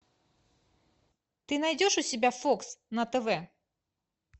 ты найдешь у себя фокс на тв